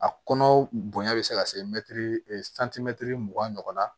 A kɔnɔ bonya bɛ se ka se mɛtiri santimɛtiri mugan ɲɔgɔnna